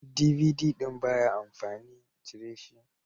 DVD ɗin baya amfani, cire shi.